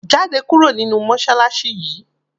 Jáde kúrò nínú mọṣáláṣí yìí!